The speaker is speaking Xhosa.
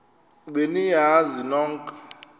be niyazi nonk